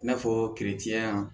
I n'a fɔ yan